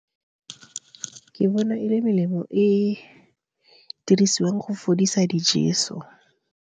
Ke bona e le melemo e dirisiwang go fodisa dijeso.